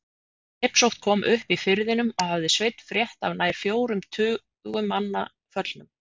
Drepsótt kom upp í firðinum og hafði Sveinn frétt af nær fjórum tugum manna föllnum.